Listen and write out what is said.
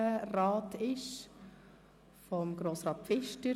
Es ist Grossrat Pfister.